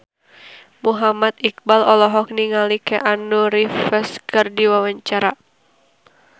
Muhammad Iqbal olohok ningali Keanu Reeves keur diwawancara